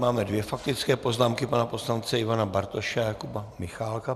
Máme dvě faktické poznámky, pana poslance Ivane Bartoše a Jakuba Michálka.